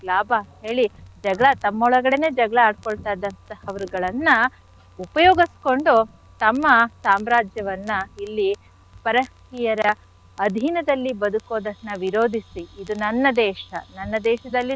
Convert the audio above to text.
ಲಾಭ ಅಂತ್ ಹೇಳಿ ಜಗಳ ತಮ್ಮೊಳಗಡೆನೆ ಜಗಳ ಆಡ್ಕೊಳ್ತಾ ಇದ್ದಂಥಹವರ್ಗಳನ್ನ ಉಪಯೋಗಿಸ್ಕೊಂಡು ತಮ್ಮ ಸಾಮ್ರಾಜ್ಯವನ್ನ ಇಲ್ಲಿ ಪರ ಸ್ತ್ರೀಯರ ಅಧೀನದಲ್ಲಿ ಬದುಕೋದನ್ನ ವಿರೋಧಿಸಿ ಇದು ನನ್ನ ದೇಶ ನನ್ನ ದೇಶದಲ್ಲಿ,